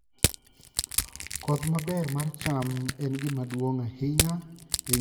Koth maber mar cham en gima duong' ahinya e ng'eyo ka pur dhi maber.